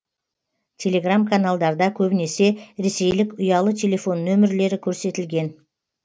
телеграм каналдарда көбінесе ресейлік ұялы телефон нөмірлері көрсетілген